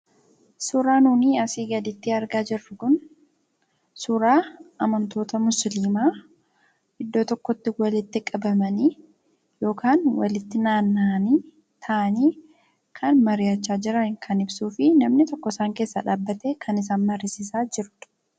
Suuraan amma asii gaditti argaa jirru kun suuraa amantoota musliimaa iddoo tokkotti walitti qabamanii yookaan walitti naanna'anii kan mari'achaa jiran ka ibsuu fi namni tokko isaan keessaa dhaabbatee kan isaan mariisisaa jirudha.